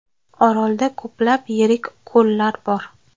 Orolda ko‘plab yirik ko‘llar bor.